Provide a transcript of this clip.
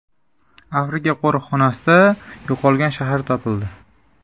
Afrika qo‘riqxonasida yo‘qolgan shahar topildi.